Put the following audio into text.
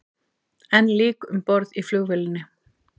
Enn lík um borð í flugvélinni